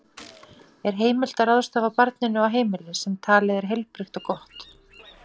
Er heimilt að ráðstafa barninu á heimili sem talið er heilbrigt og gott?